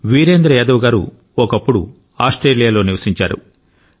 వీరేంద్ర యాదవ్ గారు ఒకప్పుడు ఆస్ట్రేలియాలో నివసించారు